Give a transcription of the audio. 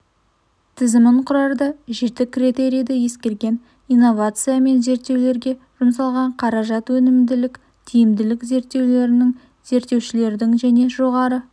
тізімін құрарда жеті критерийді ескерген инновация мен зерттеулерге жұмсалған қаражат өнімділік тиімділік зерттеулердің зерттеушілердің және жоғары